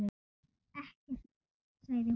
Ekkert, sagði hún.